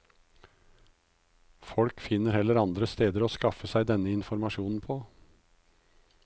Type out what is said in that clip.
Folk finner heller andre steder å skaffe seg denne informasjonen på.